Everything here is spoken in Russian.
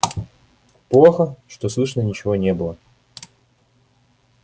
плохо что слышно ничего не было